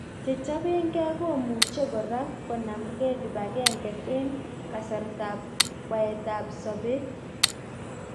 Chechapenge komucheng kora konamkeng kipangenge eng kasartap kwaet ap sapet